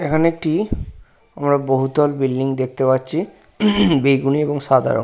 এখানে একটি আমরা বহুতল বিল্ডিং দেখতে পাচ্ছি বেগুনি এবং সাদা রঙ--